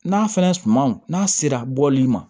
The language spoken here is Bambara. N'a fɛnɛ sumaw n'a sera bɔli ma